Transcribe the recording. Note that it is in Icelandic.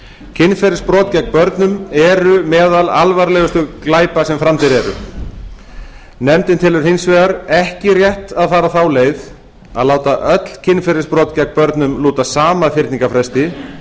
kynferðisbrot gegn börnum eru meðal alvarlegustu glæpa sem framdir eru nefndin telur hins vegar ekki rétt að fara þá leið að láta öll kynferðisbrot gegn börnum lúta sama fyrningarfresti